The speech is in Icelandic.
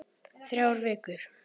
Þrjár vikur.